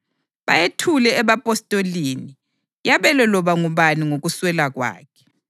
bayethule ebapostolini, yabelwe loba ngubani ngokuswela kwakhe.